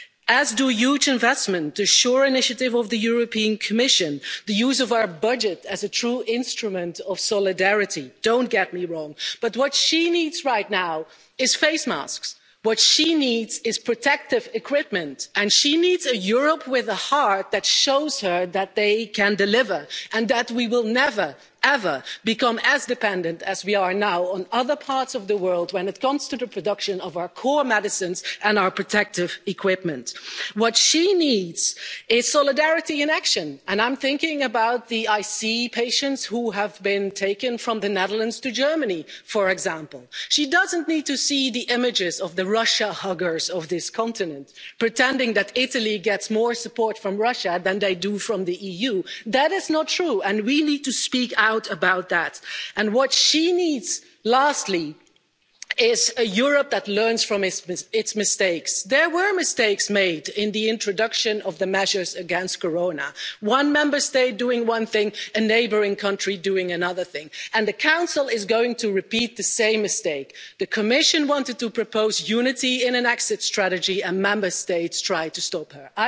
as do huge investments, the SURE initiative of the European Commission, the use of our budget as a true instrument of solidarity. Don't get me wrong. But what she needs right now are face masks, what she needs is protective equipment, and she needs a Europe with a heart that shows her that they can deliver and that we will never, ever, become as dependent as we are now on other parts of the world when it comes to the production of our core medicines and our protective equipment. What she needs is solidarity in action, and I'm thinking about the ICU patients who have been taken from the Netherlands to Germany, for example. She doesn't need to see the images of the Russia huggers of this continent pretending that Italy gets more support from Russia than they get from the EU. That is not true and we need to speak out about that. And, lastly, what she needs is a Europe that learns from its mistakes. There were mistakes made in the introduction of the measures against the coronavirus. One Member State doing one thing, a neighbouring country doing another thing. And the Council is going to repeat the same mistake. The Commission wanted to propose unity in an exit strategy and Member States tried to